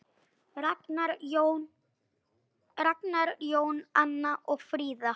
Ragnar Jón og Anna Fríða.